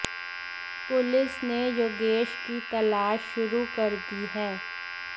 police ने योगेश की तलाश शुरू कर दी है